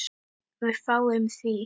Við fáum því